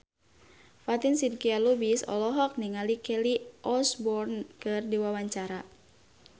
Fatin Shidqia Lubis olohok ningali Kelly Osbourne keur diwawancara